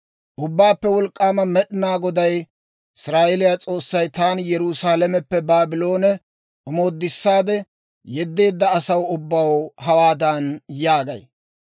«Ubbaappe Wolk'k'aama Med'inaa Goday, Israa'eeliyaa S'oossay, taani Yerusaalameppe Baabloone omoodissaade yeddeedda asaw ubbaw hawaadan yaagay;